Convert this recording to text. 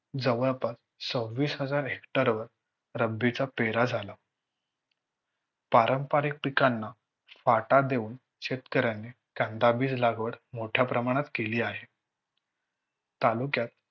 जवळपास सव्वीस हजार Hector वर रब्बीचा पेरा झाला. पारंपरिक पिकांना पाटा देऊन शेतकऱ्यांनी कांदाबीज लागवड मोठ्या प्रमाणात केली आहे. तालुक्यात